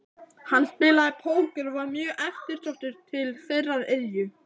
Hann spilaði póker og var mjög eftirsóttur til þeirrar iðju.